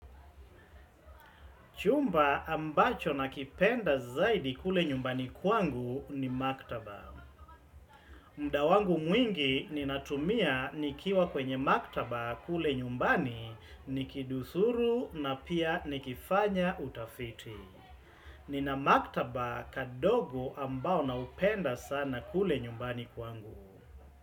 Chumba ambacho nakipenda zaidi kule nyumbani kwangu ni maktaba. Muda wangu mwingi ninatumia nikiwa kwenye maktaba kule nyumbani nikidurusuru na pia nikifanya utafiti. Nina maktaba kadogo ambao naupenda sana kule nyumbani kwangu.